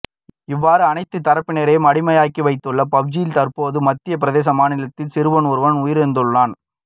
இவ்வாறு அனைத்து தரப்பினரையும் அடிமையாக்கி வைத்துள்ள பப்ஜியால் தற்போது மத்திய பிரதேச மாநிலத்தில் சிறுவன் ஒருவன் உயிரிழந்துள்ளான்